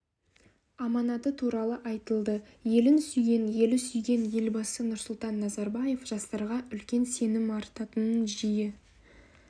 аманаты туралы айтылды елін сүйген елі сүйген елбасы нұрсұлтан назарбаев жастарға үлкен сенім артатынын жиі